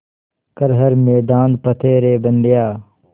कर हर मैदान फ़तेह रे बंदेया